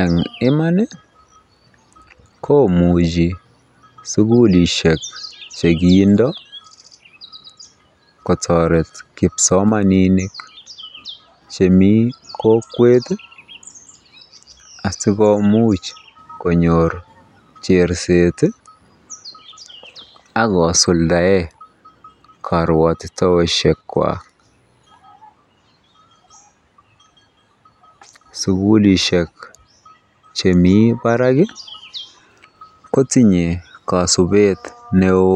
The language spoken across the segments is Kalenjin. Eng Iman komuchi sukulishek chekindo kotoret kipsomaninik chemi kokwet asikomuch konyor cherset akosuldae karwotitoshek kwak sukulishek chemii barak kotinye kasubet neo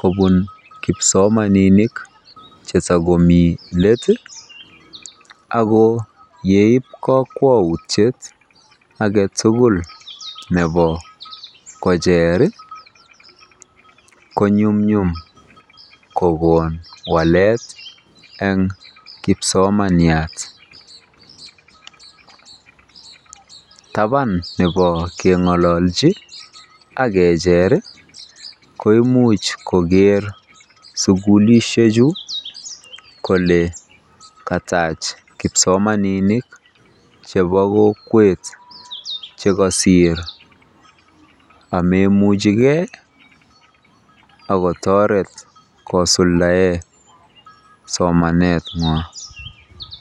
kobun kipsomaninik chetakomii let ako yeip kakwautiet ake tukul nebo kocher konyumnyum kokon walete ng kipsomaniat taban nebo keng'ololchi akecher koimuch koker sukulishek chu kole katach kipsomaninik chebo kokwet chekosir ameimuchikei akotoret kosuldae somaneng'wany.